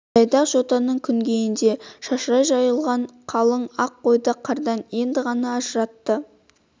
жайдақ жотаның күнгейінде шашырай жайылған қалың ақ қойды қардан енді ғана ажыратты